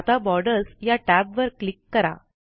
आता बॉर्डर्स या टॅबवर क्लिक करा